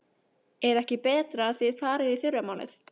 Er ekki betra að þið farið í fyrramálið?